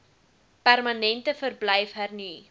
permanente verblyf hernu